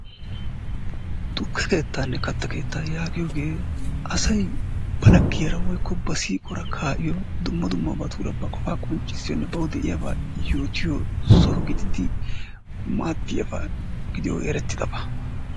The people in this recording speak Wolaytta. Tukke keettaanne katta keettaa yaagiyogee asay ba laggiyaara woykko ba siiquwaara kaa'iyo dumma dummabatuura ba qofaa qonccissiyonne bawu de'iyabaa yootiyo soho gididi maadiyaba gidiyogee erettidaba.